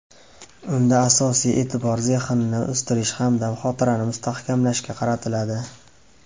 Unda asosiy e’tibor zehnni o‘stirish hamda xotirani mustahkamlashga qaratiladi.